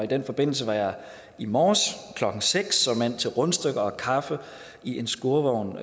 den forbindelse var jeg i morges klokken seks såmænd til rundstykker og kaffe i en skurvogn